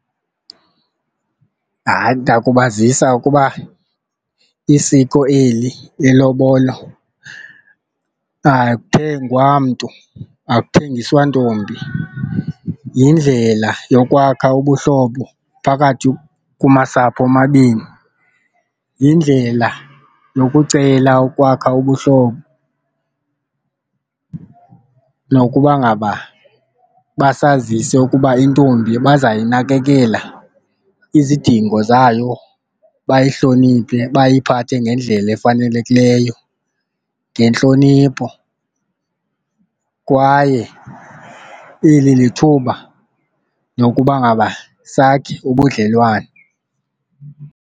Hayi, ndakubazisa ukuba isiko eli ilobolo akuthengwa mntu akuthengiswa ntombi, yindlela yokwakha ubuhlobo phakathi kumasapho omabini, yindlela yokucela ukwakha ubuhlobo nokuba ngaba basazise ukuba intombi bazayinakekela izidingo zayo bayihloniphe bayiphathe ngendlela efanelekileyo ngentlonipho kwaye eli lithuba lokuba ngaba sakhe ubudlelwane.